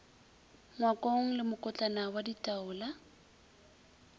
ngwakong le mokotlana wa ditaola